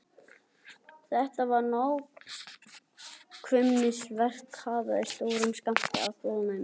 Þetta var nákvæmnisverk hlaðið stórum skammti af þolinmæði.